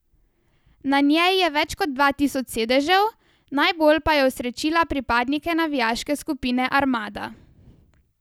Na njej je več kot dva tisoč sedežev, najbolj pa je osrečila pripadnike navijaške skupine Armada.